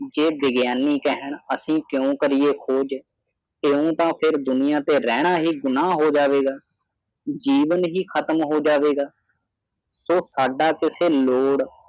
ਜੇ ਵਿਗਿਆਨੀ ਕਹਿਣ ਅਸੀਂ ਕਿਉਂ ਕਰੀਏ ਖੋਜ ਇਉਂ ਤੇ ਦੁਨੀਆਂ ਤੇ ਰਹਿਣਾ ਹੀ ਗੁਣਾਂ ਹੋ ਜਾਵੇਗਾ ਜੀਵਨ ਹੀ ਖਤਮ ਹੋ ਜਾਵੇਗਾ ਸੌ ਸਾਡਾ ਕਿਸੇ ਲੋੜ